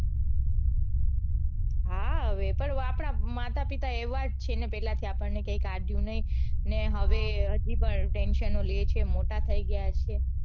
હા હવે પણ આપડા માતા પિતા એવા જ છે ને કે પેલેથી આપણ ને કઈ કાઢ્યું નઈ ને હવે હજી પણ tension લે છે મોટા થઇ ગયા છે.